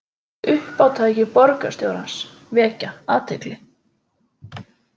Uppátæki borgarstjórans vekja athygli